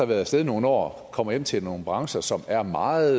været af sted i nogle år kommer hjem til nogle brancher som er meget